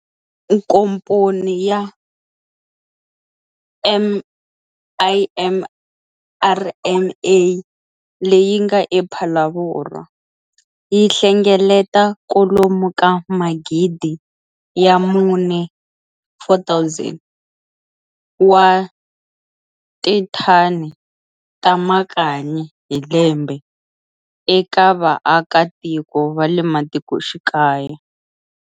Nkomponi ya MIMRMA leyi nga ePhalaborwa, yihlengeleta kwalomu ka Magidi ya mune, 4 000, wa tithani ta makanyi hi lembe eka va aka tiko vale matikoxikaya.